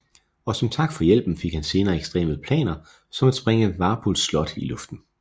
Og som tak for hjælpen fik han senere ekstreme planer som at sprænge Wapols slot i luften